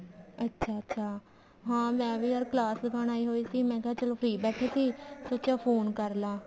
ਅੱਛਾ ਅੱਛਾ ਹਾਂ ਮੈਂ ਵੀ ਯਾਰ class ਲਗਾਉਣ ਆਈ ਹੋਈ ਸੀ ਮੈਂ ਕਿਹਾ ਚਲੋ free ਬੈਠੀ ਸੋਚਿਆ phone ਕਰਲਾ